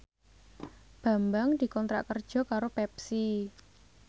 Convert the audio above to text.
Bambang dikontrak kerja karo Pepsi